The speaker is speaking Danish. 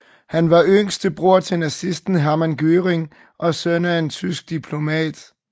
Han var en yngre bror til nazisten Hermann Göring og søn af en tysk diplomat